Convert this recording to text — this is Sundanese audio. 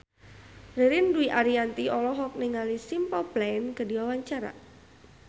Ririn Dwi Ariyanti olohok ningali Simple Plan keur diwawancara